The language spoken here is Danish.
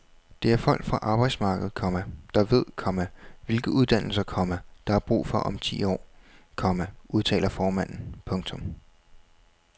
Det er folk fra arbejdsmarkedet, komma der ved, komma hvilke uddannelser, komma der er brug for om ti år, komma udtaler formanden. punktum